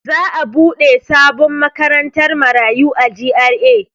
Za'a buɗe sabon makarantar marayu a G.R.A.